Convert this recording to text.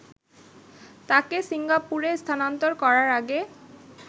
তাকে সিঙ্গাপুরে স্থানান্তর করার আগে